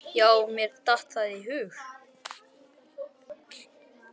Já mér datt það í hug!